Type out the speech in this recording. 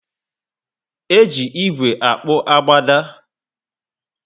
Eji ígwè akpu agbada